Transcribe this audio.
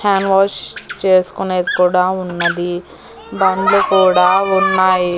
Hand wash చేసుకునేది కూడా ఉన్నది బండ్లు కూడా ఉన్నాయి.